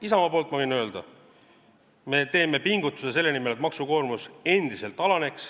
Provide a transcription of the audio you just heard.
Isamaa poolt ma võin öelda: me teeme pingutuse selle nimel, et maksukoormus endiselt alaneks.